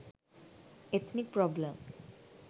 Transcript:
ethnic problem